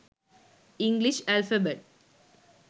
english alphabet